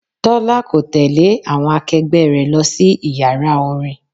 Tọ́lá kò tẹle àwọn akegbe rẹ lọ sí Ìyàrá orin.